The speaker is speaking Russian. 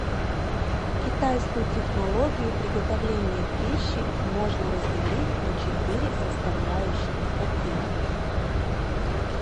китайскую технологию приготовления пищи можно разделить на четыре составляющих каких